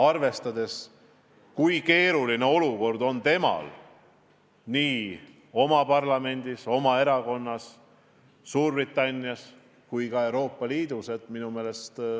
Praegu on keeruline olukord nii riigi parlamendis, Theresa May erakonnas kui ka kogu Euroopa Liidus.